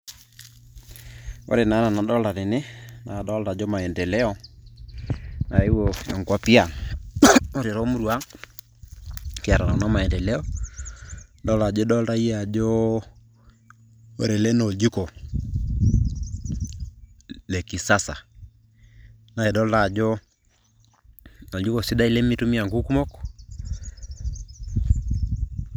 ore naa ena nadolita tene naakadolita ajo maendeleo naeuo nkuapi ang ore toomurua ang kiata kuna maendeleo idolta ajo idolta yie ajo ore ele naa oljiko le kisasa naa idolita ajo oljiko sidai lemitumia inkuk kumok.